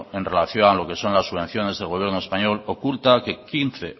en relación a lo que son las subvenciones del gobierno español oculta que